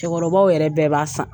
Cɛkɔrɔbaw yɛrɛ bɛɛ b'a san.